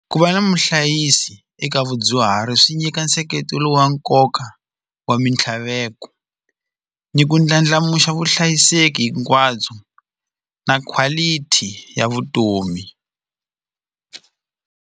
Ku va na muhlayisi eka vadyuhari swi nyika nseketelo wa nkoka wa mintlhaveko ni ku ndlandlamuxa vuhlayiseki hinkwabyo na quality ya vutomi.